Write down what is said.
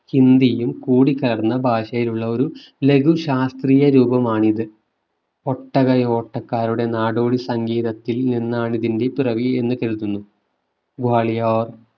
ഹിന്ദിയും കൂടി കലർന്ന ഭാഷയിലുള്ള ഒരു ലഘു ശാസ്ത്രീയ രൂപമാണിത് ഒട്ടകയോട്ടക്കാരുടെ നാടോടി സംഗീതത്തിൽ നിന്നാണ് ഇതിന്റെ പിറവി എന്ന് കേൾക്കുന്നു. ഗ്വാളിയർ